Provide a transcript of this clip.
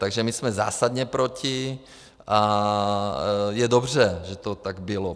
Takže my jsme zásadně proti a je dobře, že to tak bylo.